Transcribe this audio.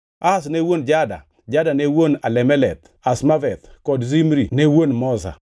Ahaz ne wuon Jada, Jada ne wuon Alemeth, Azmaveth kod Zimri ne wuon Moza.